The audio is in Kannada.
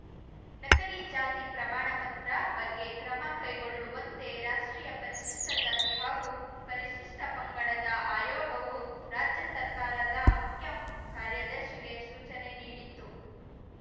ನಕಲಿ ಜಾತಿ ಪ್ರಮಾಣ ಪತ್ರ ಬಗ್ಗೆ ಕ್ರಮ ಕೈಗೊಳ್ಳುವಂತೆ ರಾಷ್ಟ್ರೀಯ ಪರಿಶಿಷ್ಟ ಜಾತಿ ಹಾಗೂ ಪರಿಶಿಷ್ಟ ಪಂಗಡದ ಆಯೋಗವು ರಾಜ್ಯ ಸರ್ಕಾರದ ಮುಖ್ಯ ಕಾರ್ಯದರ್ಶಿಗೆ ಸೂಚನೆ ನೀಡಿತ್ತು